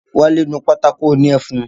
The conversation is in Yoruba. Wálé nu pátákó òní ẹfun